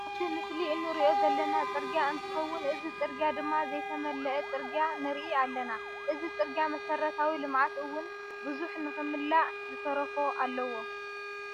ኣብዚ ምስሊ እንሪኦ ዘለና ፅርግያ እንትከውን እዚ ፅርግያ ድማ ዘይተመለአ ፅርግያ ንርኢ ኣለና ። እዚ ፅርግያ መሰረታዊ ልምዓት እውን ቡዙሕ ንክምላእ ዝተረፎ እዩ።